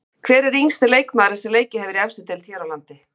Hver er yngsti leikmaðurinn sem leikið hefur í efstu deild hér á landi?